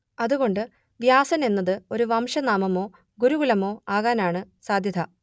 അതുകൊണ്ട് വ്യാസൻ എന്നത് ഒരു വംശനാമമോ ഗുരുകുലമോ ആകാനാണ് സാധ്യത